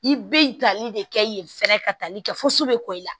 I bɛ tali de kɛ yen fɛɛrɛ ka taali kɛ fosi bɛ kɔ i la